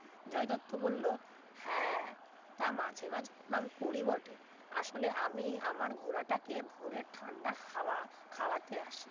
জয় দত্ত বলল হ্যাঁ তা মাঝে মাঝে প্রণাম করি বটে আসলে আমি আমার ঘোড়াটাকে ভরে ঠান্ডা হাওয়া খাওয়াতে আসি